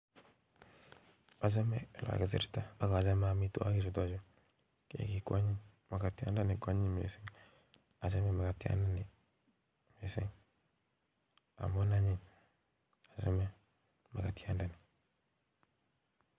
Achame olekakisirta akachame amitwokik chutachu keki kwanyiny makatyiandani kwanyiny mising achame makatyiandani mising amu anyiny achame makatyiandani